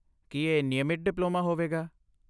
ਕੀ ਇਹ ਨਿਯਮਿਤ ਡਿਪਲੋਮਾ ਹੋਵੇਗਾ?